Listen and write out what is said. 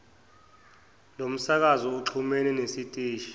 lomsakazo uxhumene nesiteshi